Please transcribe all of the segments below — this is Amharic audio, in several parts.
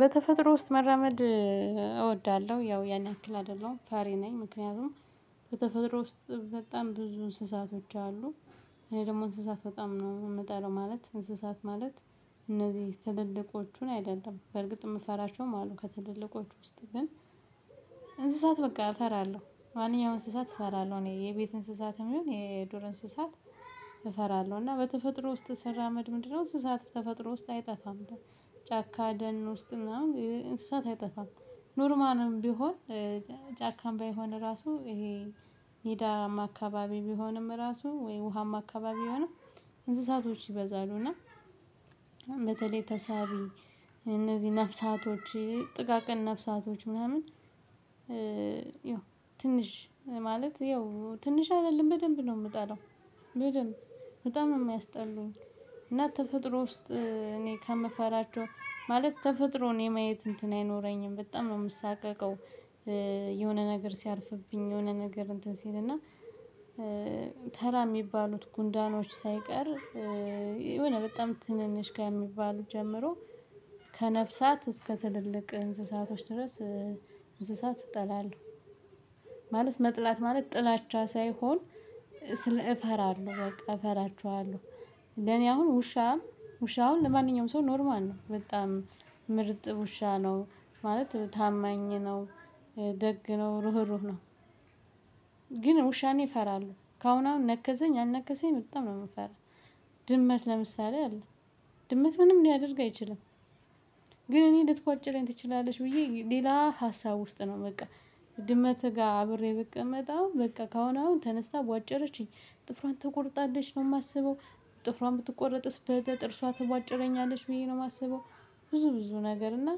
በተፈጥሮ ውስጥ መራመድ እወዳለሁ ያው ያን ያክል አይደለሁም ፈሪ ነኝ ምክንያቱም በተፈጥሮ ውስጥ በጣም ብዙ እንስሳቶች አሉ። እኔ ደግሞ እንስሳት በጣም ነው የምጠለው ማለት እንስሳት ማለት እነዚህ ትልልቆቹን አይደለም በርግጥ የምፈራቸውም አሉ ከትልልቆቹ ውስጥ። ግን በቃ እፈራለሁ ማንኛውም እንስሳት እፈራለሁ እኔ የቤት እንስሳትም ይሁን የዱር እንስሳት። እፈራለሁ እና በተፈጥሮ ውስጥ ስራመድ ምንድነው እንስሳት በተፈጥሮ ውስጥ አይጠፋም። ጫካ ደን ውስጥ ምናምን እንስሳት አይጠፋም። ኖርማልም ቢሆን ጫካም ባይሆን ራሱ ይሄ ሚዳማ አካባቢ ቢሆንም ራሱ ወይ ውሃማ አካባቢ ቢሆንም። እንስሳቶች ይበዛሉ እና። በተለይ ተሳቢ እነዚህ ነፍሳቶች ጥቃቅን ነፍሳቶች ምናምን። ያው ትንሽ ማለት ያው ትንሽ አይደለም በደንብ ነው የምጠላው። በደንብ በጣም ነው የሚያስጠሉኝ። እና ተፈጥሮ ውስጥ እኔ ከምፈራቸው ማለት ተፈጥሮን የማየት እንትን አይኖረኝም በጣም ነው የምሳቀቀው። የሆነ ነገር ሲያርፍብኝ የሆነ ነገር እንትን ሲልና። ተራ የሚባሉት ጉንዳኖች ሳይቀር የሆነ በጣም ትንንሽ ከሚባሉት ጀምሮ። ከነፍሳት እስከ ትልልቅ እንስሳቶች ድረስ እንስሳት እጠላለሁ። ማለት መጥላት ማለት ጥላቻ ሳይሆን ስል እፈራለሁ በቃ እፈራችኋለሁ። ለኔ አሁን ውሻ ውሻውን ለማንኛውም ሰው ኖርማል ነው በጣም ምርጥ ውሻ ነው። ማለት ታማኝ ነው። ደግ ነው ሩህሩህ ነው። ግን ውሻን እፈራለሁ ካሁን አሁን ነከሰኝ አልነከሰኝ በጣም ነው የምፈራው። ድመት ለምሳሌ አለ። ድመት ምንም ሊያደርግ አይችልም። ግን እኔ ልትቧጭረኝ ትችላለች ብዬ ሌላ ሀሳብ ውስጥ ነው በቃ። ድመት ጋር አብሬ ብቀመጥ አሁን በቃ ከሁን አሁን ተነስታ ቧጨረችኝ ጥፍሯን ተቆርጣለች ነው የማስበው። ጥፍሯን ብትቆርጥስ በጥርሷ ትቧጭረኛለች ብዬ ነው የማስበው። ብዙ ብዙ ነገር እና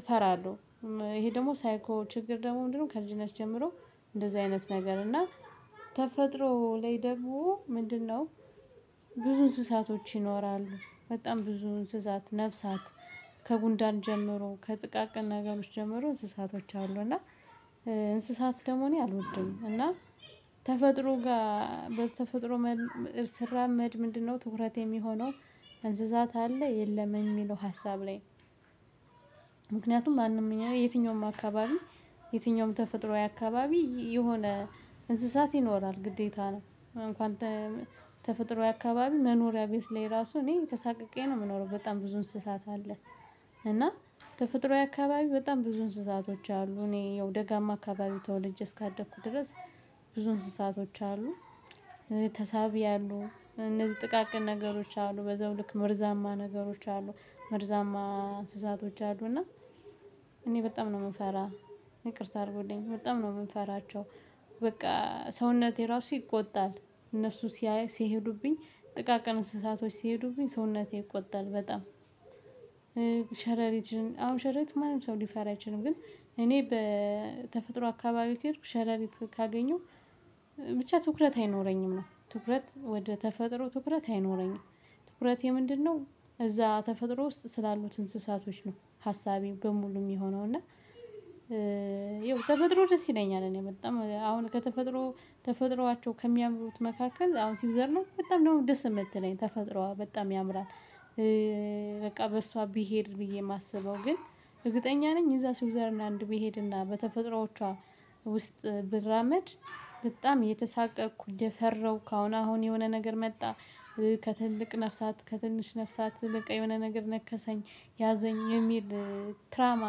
እፈራለሁ። ይሄ ደግሞ ሳይኮ ችግር ደግሞ ምንድነው ከልጅነት ጀምሮ እንደዚህ አይነት ነገር እና ተፈጥሮ ላይ ደግሞ ምንድነው? ብዙ እንስሳቶች ይኖራሉ በጣም ብዙ እንስሳት ነፍሳት። ከጉንዳን ጀምሮ ከጥቃቅና ነገሮች ጀምሮ እንስሳቶች አሉ። እና እንስሳት ደግሞ እኔ አልወድም። እና ተፈጥሮ ጋር በተፈጥሮ ስራመድ ምንድነው ትኩረት የሚሆነው? አንስሳት አለ የለም የሚለው ሀሳብ ላይ። ማንምኛው የትኛውም አካባቢ የትኛውም ተፈጥሮአዊ አካባቢ የሆነ እንስሳት ይኖራል ግዴታ ነው። እንኳን ተፈጥሮዬ አካባቢ መኖሪያ ቤት ላይ ራሱ እኔ ተሳቅቄ ነው የምኖረው በጣም ብዙ እንስሳት አለ። እና ተፈጥሯዊ አካባቢ በጣም ብዙ እንስሳቶች አሉ እኔ ያው ደጋማ አካባቢ ተወለጄ እስካደኩ ድረስ ብዙ እንስሳቶች አሉ። ተሳቢ አሉ እነዚህ ጥቃቅን ነገሮች አሉ በዛው ልክ መርዛማ ነገሮች አሉ መርዛማ እንስሳቶች አሉና። እኔ በጣም ነው የምፈራ ይቅርታ አድርጉልኝ በጣም ነው የምፈራቸው። በቃ ሰውነቴ ራሱ ይቆጣል እነሱ ሲሄዱብኝ ጥቃቅን እንስሳቶች ሲሄዱብኝ ሰውነቴ ይቆጣል በጣም። ሸረሪት አሁን ሸረሪት ማንም ሰው ሊፈራ አይችልም ግን እኔ በተፈጥሮ አካባቢ ከሄድኩ ሸረሪት ካገኘሁ። ብቻ ትኩረት አይኖረኝም ነው ትኩረት ወደ ተፈጥሮ ትኩረት አይኖረኝም ትኩረቴ ምንድነው? እዛ ተፈጥሮ ውስጥ ስላሉት እንስሳቶች ነው ሀሳቤ በሙሉ የሚሆነው እና። ያው ተፈጥሮ ደስ ይለኛል እኔ በጣም አሁን ከተፈጥሮ ተፈጥሯቸው ከሚያምሩት መካከል አሁን ሲውዘርላንድ በጣም ነው ደስ የምትለኝ ተፈጥሯ በጣም ያምራል። በቃ በእሷ ብሄድ ብዬ የማስበው ግን እርግጠኛ ነኝ እዛ ስዊዘርላንድ ቢሄድና በተፈጥሮዎቿ ውስጥ ብራመድ። በጣም የተሳቀቅኩ እንደፈረው ኩአሁን አሁን የሆነ ነገር መጣ። ከትልቅ ነፍሳት ከትንሽ ነፍሳት በቃ የሆነ ነገር ነከሰኝ። ያዘኝ የሚል ትራውማ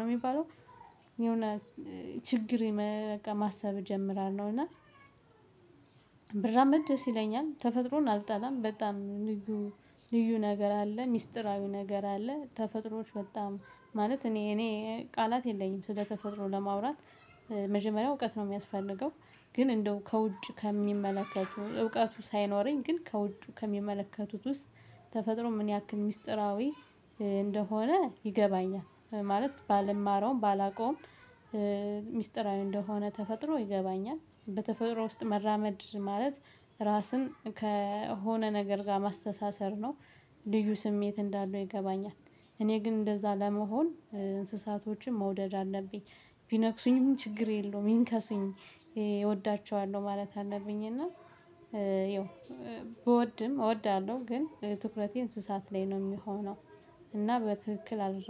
ነው የሚባለው። የሆነ ችግር በቃ ማሰብ እጀምራለሁ እና። ብራመድ ደስ ይለኛል ተፈጥሮን አልጣላም በጣም ልዩ ልዩ ነገር አለ ሚስጥራዊ ነገር አለ ተፈጥሮዎች በጣም ማለት እኔ እኔ ቃላት የለኝም ስለ ተፈጥሮ ለማውራት። መጀመሪያ እውቀት ነው የሚያስፈልገው። ግን እንደው ከውጭ ከሚመለከቱ እውቀቱ ሳይኖረኝ ግን ከውጭ ከሚመለከቱት ውስጥ። ተፈጥሮ ምን ያክል ሚስጥራዊ እንደሆነ ይገባኛል። ማለት ባልማረውም ባላቆም። ሚስጥራዊ እንደሆነ ተፈጥሮ ይገባኛል በተፈጥሮ ውስጥ መራመድ ማለት። ራስን ከሆነ ነገር ጋር ማስተሳሰር ነው። ልዩ ስሜት እንዳለው ይገባኛል። እኔ ግን እንደዛ ለመሆን እንስሳቶችን መውደድ አለብኝ። ቢነክሱኝም ችግር የለውም ይንከሱኝ እወዳቸዋለሁ ማለት አለብኝ እና። ያው ብወድም እወዳለሁ ግን ትኩረቴ እንስሳት ላይ ነው የሚሆነው። እና በትክክል አደረገ